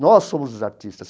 Nós somos os artistas.